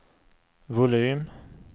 volym